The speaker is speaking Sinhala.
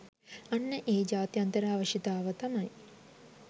අන්න ඒ ජාත්‍යන්තර අවශ්‍යතාව තමයි